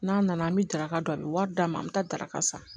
N'a nana an bɛ daraka dun a bɛ wari d'a ma an bɛ taa daraka san